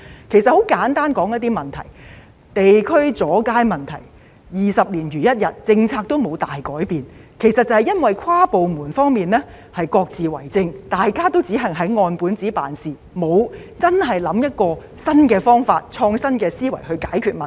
我很簡單的說一些問題，地區的阻街問題二十年如一日，政策都沒有大改變，其實都是因為跨部門之間各自為政，大家只按本子辦事，沒有真的以創新的思維想一個新的方法去解決問題。